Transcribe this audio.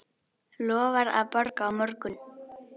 Lofar að borga á morgun.